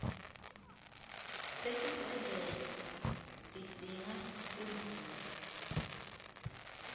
sesibhedlela tidzinga imvume